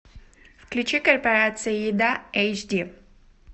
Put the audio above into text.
включи корпорация еда эйч ди